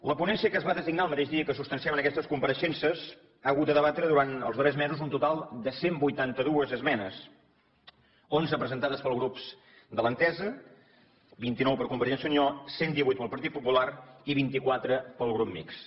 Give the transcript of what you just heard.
la ponència que es va designar el mateix dia que se substanciaven aquestes compareixences ha hagut de debatre durant els darrers mesos un total de cent i vuitanta dos esmenes onze presentades pels grups de l’entesa vint nou per convergència i unió cent i divuit pel partit popular i vint quatre pel grup mixt